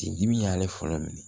Sin dibi y'ale fɔlɔ minɛ